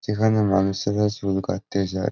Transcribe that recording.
যেখানে মানুষেরা চুল কাটতে যায়।